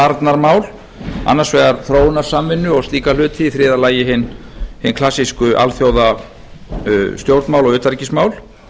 varnarmál annars vegar þróunarsamvinnu og slíka hluti í þriðja lagi hin klassísku alþjóðastjórnmál og utanríkismál